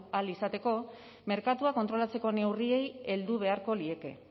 ahal izateko merkatua kontrolatzeko neurriei heldu beharko lieke